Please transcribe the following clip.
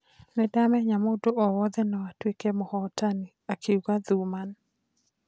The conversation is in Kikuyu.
"Nindamenyaga mũndũ o wothe no atũĩke mũhotani" , akiuga Thuman.